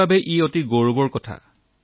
মোৰ বাবে এয়া অতিশয় গৌৰৱৰ কথা